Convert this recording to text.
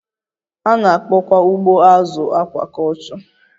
A na-akpọkwa ugbo azụ akwakọlchọ